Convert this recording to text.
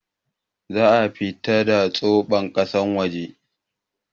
Za'a fitar da soɓon kasar waje